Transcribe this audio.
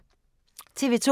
TV 2